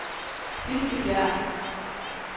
Bispebjerg